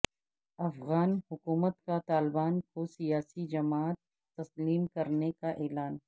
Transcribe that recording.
افغان حکومت کا طالبان کو سیاسی جماعت تسلیم کرنے کا اعلان